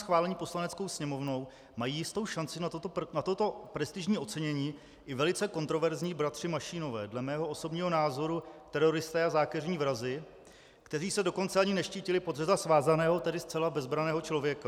schválení Poslaneckou sněmovnou mají jistou šanci na toto prestižní ocenění i velice kontroverzní bratři Mašínové, dle mého osobního názoru teroristé a zákeřní vrazi, kteří se dokonce ani neštítili podřezat svázaného, tedy zcela bezbranného člověka.